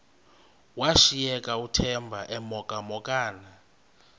washiyeka uthemba emhokamhokana